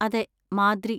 അതെ, മാദ്രി.